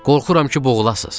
Qorxuram ki, boğulasız.